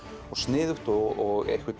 og sniðugt og